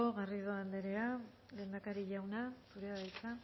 garrido anderea lehendakari jauna zurea da hitza